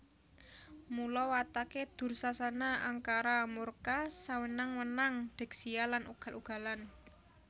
Mula watake Dursasana angkara murka sewenang wenang degsiya lan ugal ugalan